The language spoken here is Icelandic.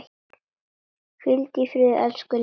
Hvíldu í friði elsku Linda.